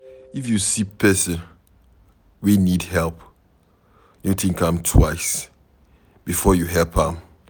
If you see pesin wey need help, no think am twice before you help am